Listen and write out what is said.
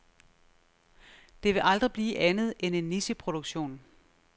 Det vil aldrig blive andet end en nicheproduktion.